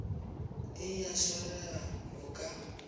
e a swarega o ka